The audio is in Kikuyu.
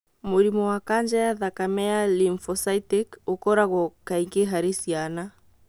Mũrimũ wa kanja ya thakame ya lymphocytic ũkoragwo kaingĩ harĩ ciana